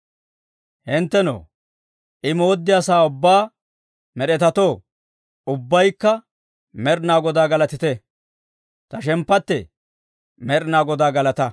Hinttenoo, I mooddiyaa sa'aa ubbaa med'etatoo, ubbaykka Med'inaa Godaa galatite! Ta shemppattee, Med'inaa Godaa galataa!